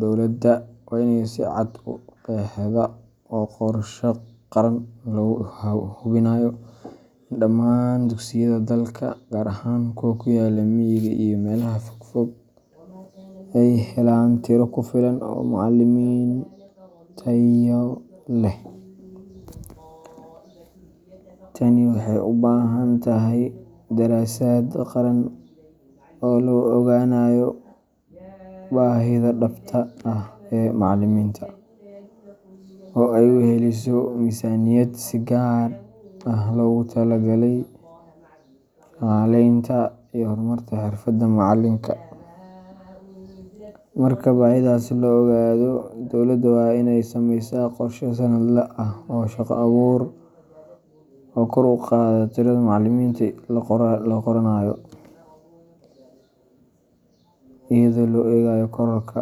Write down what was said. dowladda waa inay si cad u qeexdaa qorshe qaran oo lagu hubinayo in dhammaan dugsiyada dalka, gaar ahaan kuwa ku yaalla miyiga iyo meelaha fog fog, ay helaan tiro ku filan oo macalimiin tayo leh. Tani waxay u baahan tahay daraasad qaran oo lagu ogaanayo baahida dhabta ah ee macalimiinta, oo ay weheliso miisaaniyad si gaar ah loogu tala galay shaqaaleynta iyo horumarinta xirfadda macalinka. Marka baahidaas la ogaado, dowladda waa inay samaysaa qorshe sannadle ah oo shaqo abuur ah oo kor u qaada tirada macalimiinta la qoranayo, iyadoo loo eegayo kororka.